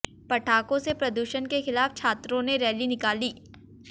पटाखों से प्रदूषण के खिलाफ छात्रों ने रैली निकाली